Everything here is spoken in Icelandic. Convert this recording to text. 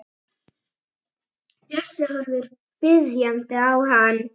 Bjössi horfir biðjandi á hann.